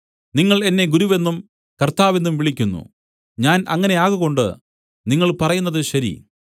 നിങ്ങൾ എന്നെ ഗുരുവെന്നും കർത്താവെന്നും വിളിക്കുന്നു ഞാൻ അങ്ങനെ ആകകൊണ്ട് നിങ്ങൾ പറയുന്നത് ശരി